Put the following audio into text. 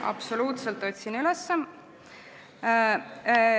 Absoluutselt, otsin üles.